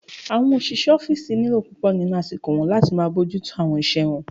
Àwọn òṣìṣẹ́ ọ́fìsì n lo púpọ̀ nínu àsìkò wọn láti máa bójú tó àwọn iṣẹ́ wọn